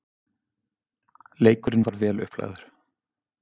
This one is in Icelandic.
Leikurinn var vel upplagður.